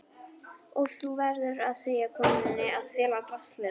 Og þú verður að segja konunni að fela draslið.